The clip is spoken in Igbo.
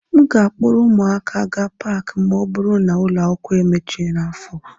M ga-akpọrọ ụmụaka gaa Paakị ma ọ bụrụ na ụlọ akwụkwọ emechi n'afọ a